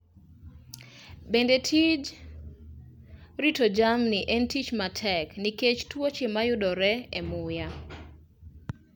Bende, tij rito jamni en tich matek nikech tuoche mayudore e muya.